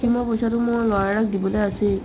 ice-cream ৰ পইচাটো মই নয়নক দিবলে আছেই